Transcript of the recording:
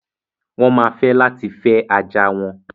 Wọ́n ma fẹ́ láti fẹ́ ajá wọn.